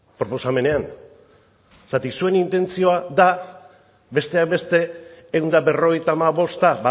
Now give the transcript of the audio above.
proposamenean zeren zuen intentzioa da besteak beste ehun eta berrogeita hamabosta